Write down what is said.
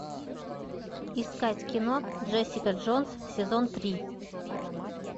искать кино джессика джонс сезон три